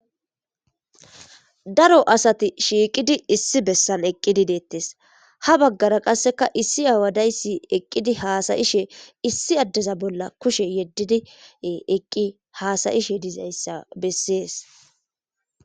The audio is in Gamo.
daro asati shiiqidi issi bessan eqqidi deettes ha baggara qasseka issi awadayssi eqqidi haasayishe issi addeza bolla kushe yeddidi eqqi haasayishe dizayssa bessees